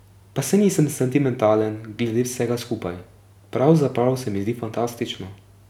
Pa saj nisem sentimentalen glede vsega skupaj, pravzaprav se mi zdi fantastično.